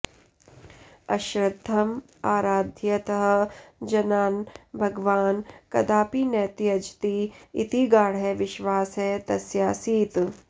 अश्रद्धम् आराधयतः जनान् भगवान् कदापि न त्यजति इति गाढः विश्वासः तस्यासीत्